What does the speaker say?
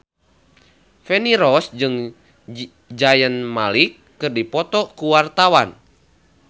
Feni Rose jeung Zayn Malik keur dipoto ku wartawan